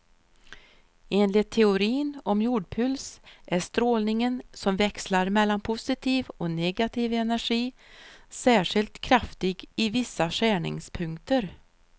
Enligt teorin om jordpuls är strålningen, som växlar mellan positiv och negativ energi, särskilt kraftig i vissa skärningspunkter.